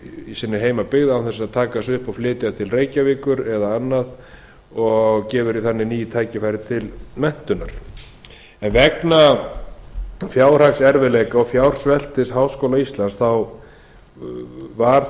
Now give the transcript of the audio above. í sinni heimabyggð án þess að taka sig upp og flytja inn reykjavíkur eða annað og gefur því þannig ný tækifæri til menntunar vegna fjárhagserfiðleika og fjársveltis háskóla íslands var